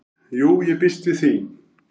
"""Jú, ég býst við því"""